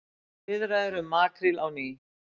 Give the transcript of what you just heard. Viðræður um makríl á ný